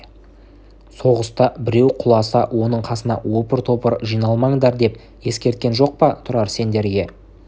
соғыста біреу құласа оның қасына опыр-топыр жиналмаңдар деп ескерткен жоқ па тұрар сендерге